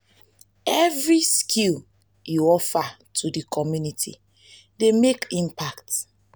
evri skill yu offer to di community dey mek impact.